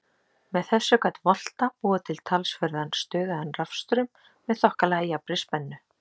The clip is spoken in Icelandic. Með þessu gat Volta búið til talsverðan stöðugan rafstraum með þokkalega jafnri spennu.